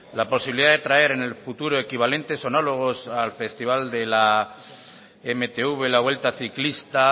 la posibilidad de traer en el futuro equivalentes homólogos al festival de la mtv la vuelta ciclista